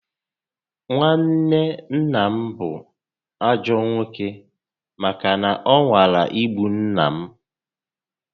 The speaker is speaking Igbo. Nwanne nna m bú ajọ nwoke màkà na ọ nwara igbu nnà m